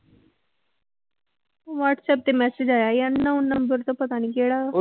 WhatsApp ਤੇ message ਆਇਆ ਯਾਰ ਨੋ number ਤੋਂ ਪਤਾ ਨੀ ਕਿਹੜਾ ਵਾ